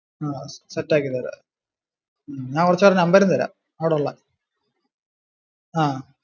ആ set ആക്കി തരാം ഞാൻ കുറച്ചു പേരുടെ number തരാം അവിടുള്ള. ആഹ്